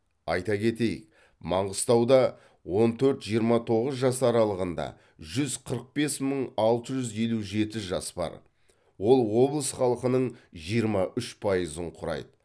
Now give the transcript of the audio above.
айта кетейік маңғыстауда он төрт жиырма тоғыз жас аралығында жүз қырық бес мың алты жүз елу жеті жас бар ол облыс халқының жиырма үш пайызын құрайды